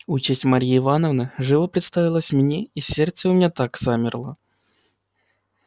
участь марьи ивановны живо представилась мне и сердце у меня так и замерло